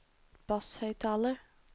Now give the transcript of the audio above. basshøyttaler